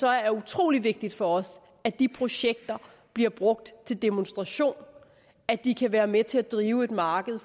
er utrolig vigtigt for os at de projekter bliver brugt til demonstration at de kan være med til at drive et marked